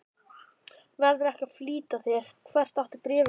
Verðurðu ekki að flýta þér. hvert átti bréfið að fara?